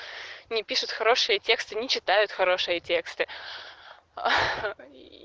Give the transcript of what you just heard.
не пишут хорошие тексты не читают хорошие тексты